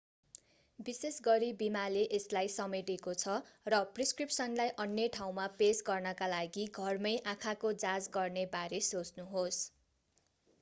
विशेष गरी बीमाले यसलाई समेटेको छ र प्रिस्क्रिप्सनलाई अन्य ठाउँमा पेश गर्नका लागि घरमै आँखाको जाँच गर्ने बारे सोच्नुहोस्‌।